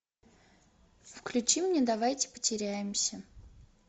включи мне давайте потеряемся